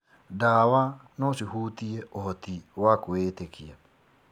Ndawa no cihutie ũhoti wa kwĩĩtĩkia.